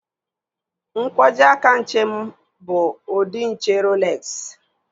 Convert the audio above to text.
Nkwojiaka nche m bụ ụdị nche Roolexi